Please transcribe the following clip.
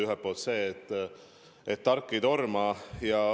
Ühelt poolt see, et tark ei torma.